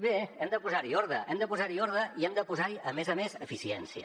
bé hem de posar hi ordre hem de posar hi ordre i hem de posar hi a més a més eficiència